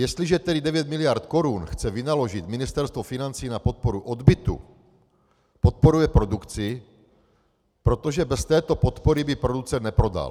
Jestliže tedy 9 miliard korun chce vynaložit Ministerstvo financí na podporu odbytu, podporuje produkci, protože bez této podpory by producent neprodal.